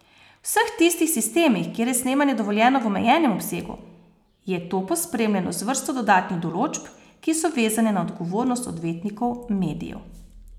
V vseh tistih sistemih, kjer je snemanje dovoljeno v omejenem obsegu, je to pospremljeno z vrsto dodatnih določb, ki so vezane na odgovornost odvetnikov, medijev ...